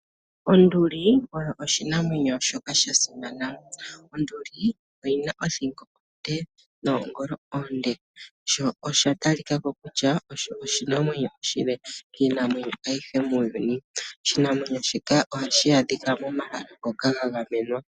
Onduli oyo oshinamwenyo shoka sha simana, Onduli oyina othingo onde noongolo oonde sho osha talikako kutya osho oshinamwenyo oshile miinamwenyo ayihe muuyuni . Oshinamwenyo shika ohashi adhika momahala ngoka ga gamenwa.